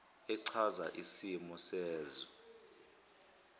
echaza isimo sezwe